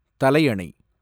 தலையணை